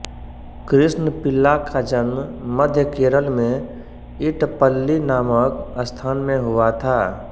कृष्ण पिल्ला का जन्म मध्य केरल में इटप्पल्लि नामक स्थान में हुआ था